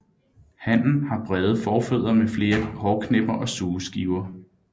Hannen har brede forfødder med flere hårknipper og sugeskiver